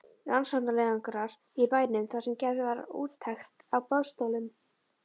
Rannsóknarleiðangrar í bænum þar sem gerð var úttekt á boðstólum.